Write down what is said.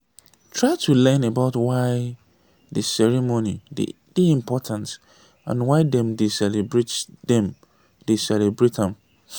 try to learn about why di ceremony dey important and why dem dey celebrate dem dey celebrate am